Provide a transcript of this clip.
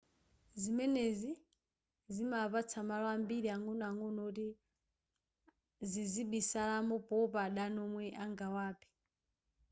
zimenezi zima apatsa malo ambiri ang'onoang'ono woti zizibisalamo powopa adani womwe angawaphe